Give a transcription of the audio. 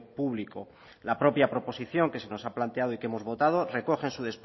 público la propia proposición que se nos ha planteado y que hemos votado recoge en su